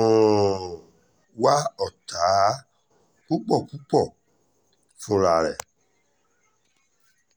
um wá ọ̀tá púpọ̀ púpọ̀ fúnra ẹ̀